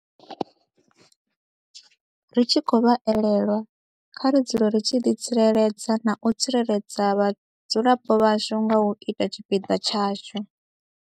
Ri tshi khou vha elelwa, kha ri dzule ri tshi ḓitsireledza na u tsireledza vhadzulapo vhashu nga u ita tshipiḓa tshashu.